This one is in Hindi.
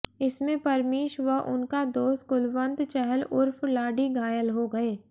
इसमें परमीश व उनका दोस्त कुलवंत चहल उर्फ लाडी घायल हो गए